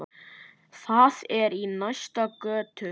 Það er í næstu götu.